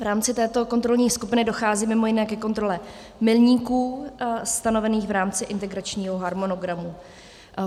V rámci této kontrolní skupiny dochází mimo jiné ke kontrole milníků stanovených v rámci integračního harmonogramu.